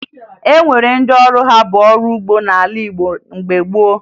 O nwere ndị ọrụ ha bụ ọrụ ugbo n'ala Igbo mgbe gboo